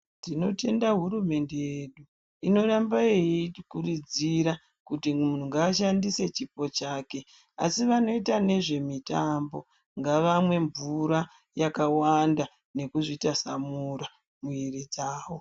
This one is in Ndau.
Tinotenda hurumende yedu inoramba yeitikurudzira kuti, muntu ngaashandise chipo chake, asi vanoita nezvemitambo, ngavamwe mvura yakawanda, nekuzvitasamura mwiiri dzavo.